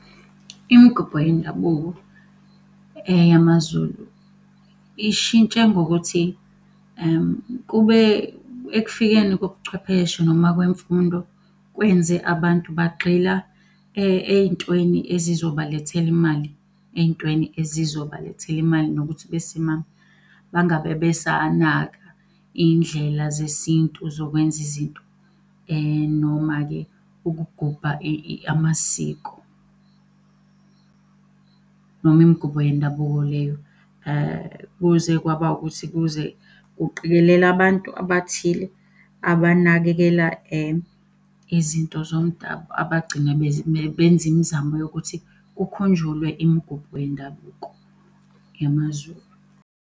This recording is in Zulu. Imigubho yendabuko yamaZulu ishintshe ngokuthi, kube ekufikeni kobuchwepheshe noma kwemfundo kwenze abantu bagxila ey'ntweni ezizobalethela imali, ey'ntweni ezizobalethela imali nokuthi besimame bangabe besanaka iy'ndlela zesintu zokwenza izinto. Noma-ke ukugubha amasiko, noma imigubho yendabuko leyo. Kuze kwaba ukuthi kuze kuqikelela abantu abathile abanakekela, izinto zomdabu abagcina benza imizamo yokuthi kukhunjulwe imigubo yendabuko yamaZulu.